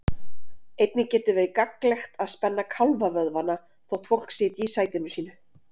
Einnig getur verið gagnlegt að spenna kálfavöðvana þótt fólk sitji í sætinu sínu.